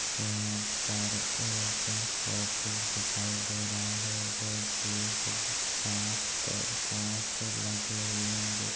यहाँ पर एक ऑफिस दिखाई दे रहा है जो की कांच का कांच लगे हुए हैं जैसे --